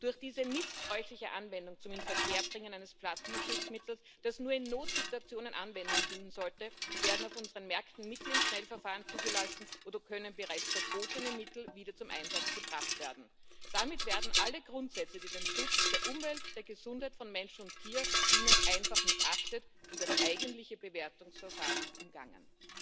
Durch diese missbräuchliche Anwendung zum Inverkehrbringen eines Pflanzenschutzmittels, das nur in Notsituationen Anwendung finden sollte, werden auf unseren Märkten Mittel im Schnellverfahren zugelassen oder können bereits verbotene Mittel wieder zum Einsatz gebracht werden. Damit werden alle Grundsätze, die dem Schutz der Umwelt, der Gesundheit von Mensch und Tier dienen, einfach missachtet und das eigentliche Bewertungsverfahren umgangen.